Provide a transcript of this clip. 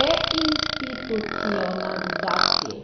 deinstitucionalizaciji.